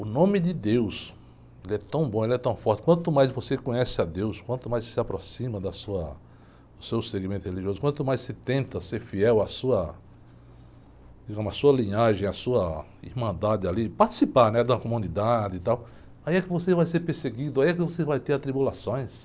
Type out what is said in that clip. O nome de Deus, ele é tão bom, ele é tão forte, quanto mais você conhece a Deus, quanto mais você se aproxima da sua, do seu segmento religioso, quanto mais você tenta ser fiel à sua, digamos, à sua linhagem, à sua irmandade, ali, participar, né? Da comunidade, e tal, aí é que você vai ser perseguido, aí é que você vai ter atribulações.